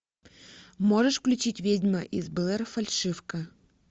можешь включить ведьма из блэр фальшивка